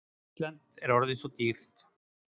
Ísland er orðið svo dýrt.